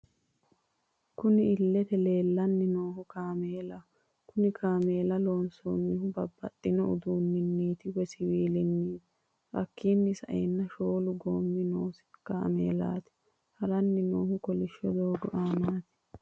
Kunni illete leelani noohu kaamelaho kunni kaamella loonsonihu babaxitino uduuniniti woyi siwilaniti hakiino sa'eena shoolu goomi noosi kaamelati harrani noohu kolishsho doogo aanati.